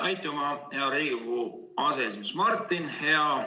Aitüma, hea Riigikogu aseesimees Martin!